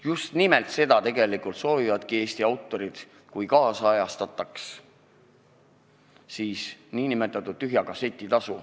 Just nimelt seda soovivadki Eesti autorid tühja kasseti tasu ajakohastamisega.